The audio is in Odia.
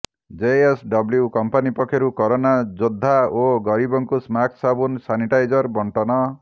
ଜେଏସଡବ୍ଲୁ କମ୍ପାନୀ ପକ୍ଷରୁ କରୋନା ଯୋଦ୍ଧା ଓ ଗରିବଙ୍କୁ ମାସ୍କ ସାବୁନ୍ ସାନିଟାଇଜର ବଣ୍ଟନ